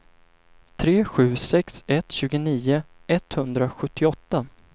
tre sju sex ett tjugonio etthundrasjuttioåtta